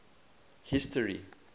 history